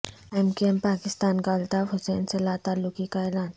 M Q M Pakistan کا الطاف حسین سے لاتعلقی کا اعلان